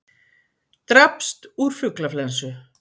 Drapst úr fuglaflensu